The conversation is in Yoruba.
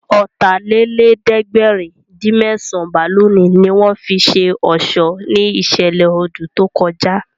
Ọ̀tàlélẹ̀ẹ́dẹ́gbẹ̀rin-dín-mẹ́sàn bálùnì ní wọ́n fi ṣe ọ̀ṣọ́ ní ìṣẹ̀lẹ̀ odù tó kọjá